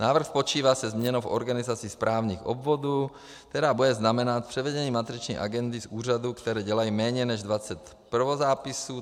Návrh počítá se změnou v organizaci správních obvodů, která bude znamenat převedení matriční agendy z úřadů, které dělají méně než 20 prvozápisů.